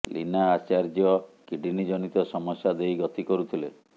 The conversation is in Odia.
ଲୀନା ଆଚାର୍ଯ୍ୟ କିଡ଼ନୀ ଜନିତ ସମସ୍ୟା ଦେଇ ଗତି କରୁଥିଲେ